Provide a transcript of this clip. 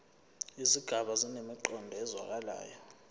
izigaba zinemiqondo ezwakalayo